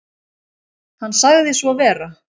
Hann sagði svo vera.